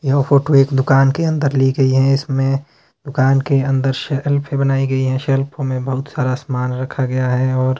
यह फोटो एक दुकान के अंदर ली गई है इसमें दुकान के अंदर शेल्फ भी बनाई गई है शेल्फ में बहोत सारा सामान रखा गया है और--